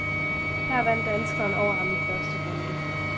Her vandt danskeren over ham i første runde.